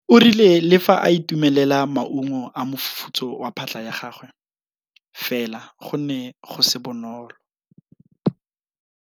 O rile le fa a itumelela maungo a mofufutso wa phatlha ya gagwe fela go ne go se bonolo.